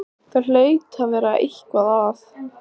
Það hlaut að vera eitthvað að.